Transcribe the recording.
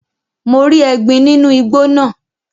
Mo rí ẹgbin nínú igbó náà.